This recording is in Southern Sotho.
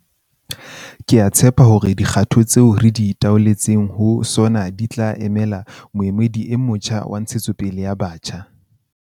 Ke a tshepa hore dikgato tseo re di talotseng ho SoNA di tla emela moedi o motjha wa ntshetsopele ya batjha.